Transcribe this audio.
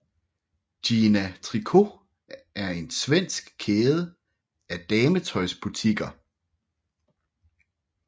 Gina Tricot er en svensk kæde af dametøjsbutikker